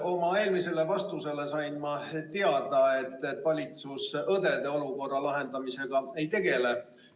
Oma eelmise küsimuse vastusest sain ma teada, et valitsus õdede olukorra lahendamisega ei tegele.